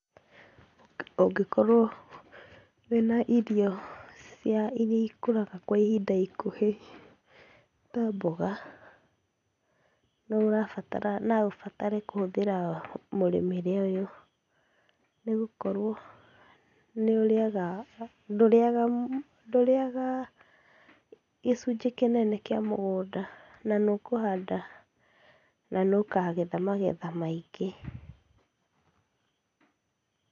Ũngĩkorwo wĩna irio cia iria ikũraga kwa ihinda ikuhĩ ta mboga no ũrabatara, no ũbatare kũhũthĩra mũrĩmĩre ũyũ. Nigũkorwo ndũrĩaga gĩcunjĩ kĩnene kĩa mũgũnda na nĩũkũhanda na nĩũkagetha magetha maingĩ.